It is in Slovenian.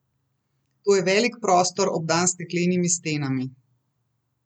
To je velik prostor, obdan s steklenimi stenami.